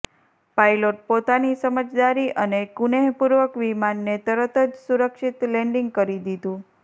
pilot પોતાની સમજદારી અને કુનેહપૂર્વક વિમાનને તરતજ સુરક્ષિત લેન્ડિંગ કરી દીધું